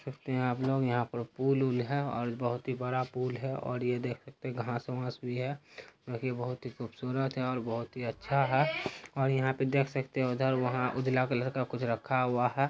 देख सकते हैं आप लोग यहाँ पर पुल उल्ल है और बहोत ही बड़ा पुल है और ये देख सकते हैं घासवास भी है और ये बहोत ही खुबसूरत है और बहोत ही अच्छा है और यहाँ पे देख सकते उधर वहाँ उजला कलर का कुछ रखा हुआ है।